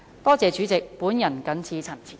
多謝主席，我謹此陳辭。